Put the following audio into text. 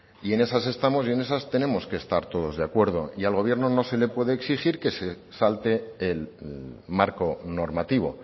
y en esas estamos y en esas tenemos que estar todos de acuerdo y al gobierno no se le puede exigir que se salte el marco normativo